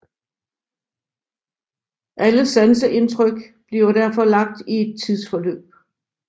Alle sanseindtryk bliver derfor lagt i et tidsforløb